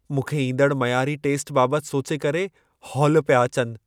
मूंखे ईंदड़ मयारी टेस्ट बाबति सोचे करे हौल पिया अचनि।